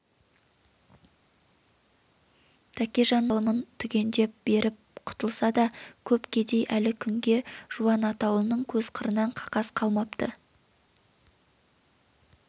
тәкежанның бар алымын түгендеп беріп құтылса да көп кедей әлі күнге жуан атаулының көз қырынан қақас қалмапты